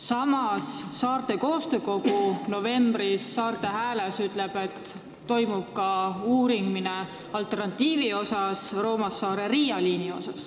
Samas, Saarte Koostöökogu ütles novembris Saarte Hääles, et uuritakse ka alternatiivi, Roomassaare–Riia liini.